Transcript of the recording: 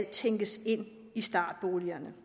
tænkes ind i startboligerne